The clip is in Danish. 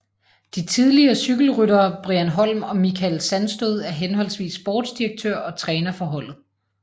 De tidligere cykelryttere Brian Holm og Michael Sandstød er henholdsvis sportsdirektør og træner for holdet